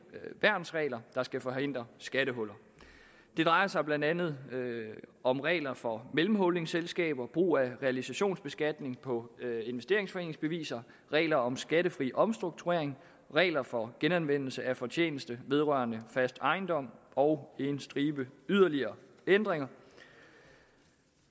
værnsregler der skal forhindre skattehuller det drejer sig blandt andet om regler for mellemholdingselskaber brug af realisationsbeskatning på investeringsforeningsbeviser regler om skattefri omstrukturering regler for genanvendelse af fortjeneste vedrørende fast ejendom og en stribe yderligere ændringer